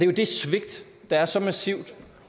jo det svigt der er så massivt